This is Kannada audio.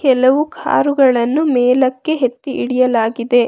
ಕೆಲವು ಕಾರುಗಳನ್ನು ಮೇಲಕ್ಕೆ ಎತ್ತಿ ಇಡಿಯಲಾಗಿದೆ.